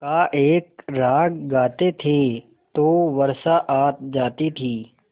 का एक राग गाते थे तो वर्षा आ जाती थी